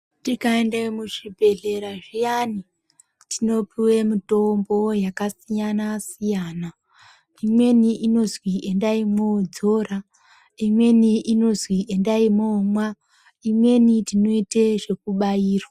Tikaenda muzvibhedhlera zviyani tinopuwe mitombo yakasiyana- siyana imweni inozwi endai mwoidzora imweni inozwi endai moomwa imweni tinoite zvekubairwa.